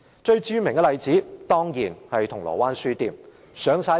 最著名的例子，當然是銅鑼灣書店事件。